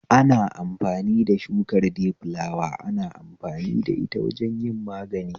Ana amfani da shukar dayfulawa ana amfani da ita wajen yin magani